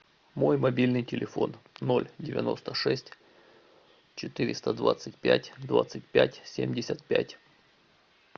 мой мобильный телефон ноль девяносто шесть четыреста двадцать пять двадцать пять семьдесят пять